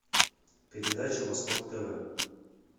передача восток тв